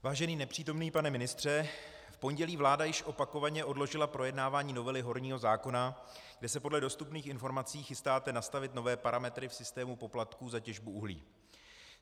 Vážený nepřítomný pane ministře, v pondělí vláda již opakovaně odložila projednávání novely horního zákona, kde se podle dostupných informací chystáte nastavit nové parametry v systému poplatků za těžbu uhlí.